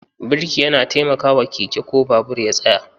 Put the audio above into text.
Birki yana taimakawa keke ko babur ya tsaya